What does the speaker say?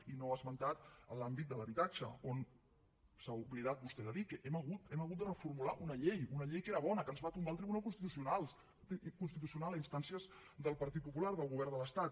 i no ha esmentat l’àmbit de l’habitatge on s’ha oblidat vostè de dir que hem hagut de reformular una llei una llei que era bona que ens va tombar el tribunal constitucional a instàncies del partit popular del govern de l’estat